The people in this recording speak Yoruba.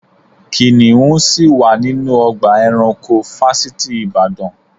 Kìnìún ṣì wà nínú ọgbà eranko fásitì ìbàdàn.